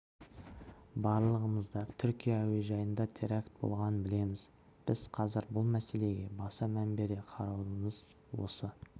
барлығымыз да түркия әуежайында теракт болғанын білеміз біз қазір бұл мәселеге баса мән бере қараудамыз осы